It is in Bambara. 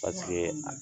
Paseke